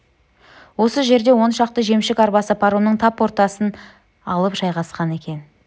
осы жерде он шақты жемшік арбасы паромның тап ортасын алып жайғасқан екен